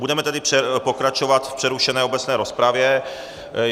Budeme tedy pokračovat v přerušené obecné rozpravě.